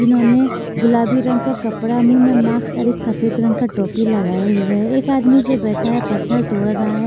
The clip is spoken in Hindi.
जिन्होंने गुलाबी रंग का कपड़ा मुंह में माक्स और एक सफेद रंग का टोपी लगाए हुए है एक आदमी जो बैठा है पत्थर तोड़ रहा है।